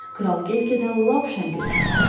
Kral get-gedə lap şən görkəm aldı.